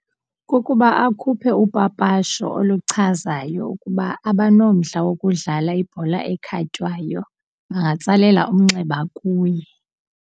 Kukuba akhuphe upapasho oluchazayo ukuba abanomdla wokudlala ibhola ekhatywayo bangatsalela umnxeba kuye.